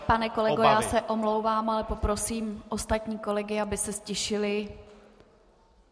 Pane kolego, já se omlouvám, ale poprosím ostatní kolegy, aby se ztišili.